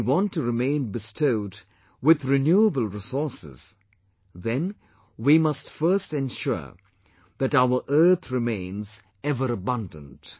If we want to remain bestowed with 'renewable' resources then we must first ensure that our earth remains ever abundant